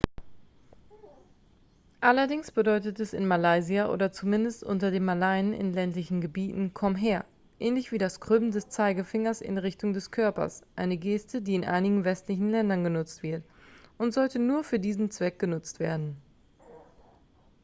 "allerdings bedeutet es in malaysia oder zumindest unter den malaien in ländlichen gebieten "komm her" ähnlich wie das krümmen des zeigefingers in richtung des körpers eine geste die in einigen westlichen ländern genutzt wird und sollte nur für diesen zweck genutzt werden.